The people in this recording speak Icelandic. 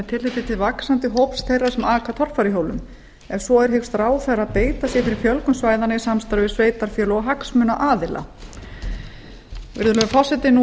tilliti til vaxandi hóps þeirra sem aka torfæruhjólum ef svo er hyggst ráðherra beita sér fyrir fjölgun svæðanna í samstarfi við sveitarfélög og hagsmunaaðila virðulegi forseti nú er